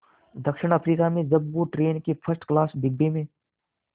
दक्षिण अफ्रीका में जब वो ट्रेन के फर्स्ट क्लास डिब्बे में